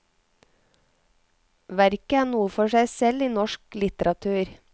Verket er noe for seg selv i norsk litteratur.